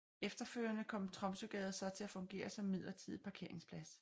Efterfølgende kom Tromsøgade så til at fungere som midlertidig parkeringsplads